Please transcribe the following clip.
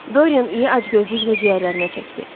Doryan iyi acgözlüklə ciyərlərinə çəkdi.